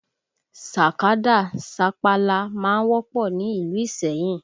Sàkádà, sapala má ń wọ́pọ̀ ni ìlú Iseyin